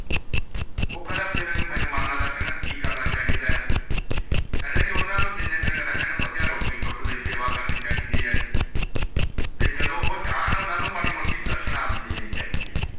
ਊਹ ਕਹਿੰਦਾ ਸਵੇਰੇ ਮੇਹਮਾਨਾ ਦਾ ਕਹਿੰਨਾ ਕੀ ਕਰਨਾ ਚਾਹੀਦਾ ਹੈ ਕਹਿੰਦਾ ਜੇ ਓਨ੍ਨਾ ਨੂੰ ਜੀਨੇ ਦਿਨ ਰਹਨ ਬੜੀਆ ਰੋਟੀ ਟੁੱਕ ਦੀ ਸੇਵਾ ਕਰਨੀ ਚਾਹੀਂਦੀ ਹੈ ਤੇ ਜਦੋ ਓਹ ਜਾਣ ਓਹਨਾ ਨੂੰ ਮਾੜੀ ਮੋਟੀ ਦਸ਼ਨਾਂ ਵੀ ਦੇਣੀ ਚਾਹੀਦੀ ਹੈ